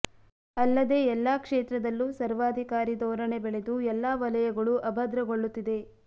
ಅಲ್ಲದೆ ಎಲ್ಲಾ ಕ್ಷೇತ್ರದಲ್ಲೂ ಸರ್ವಾಧಿಕಾರಿ ಧೋರಣೆ ಬೆಳೆದು ಎಲ್ಲಾ ವಲಯಗಳೂ ಅಭದ್ರಗೊಳ್ಳುತ್ತಿದೆ